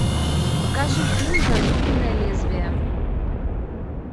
покажи фильм зазубренное лезвие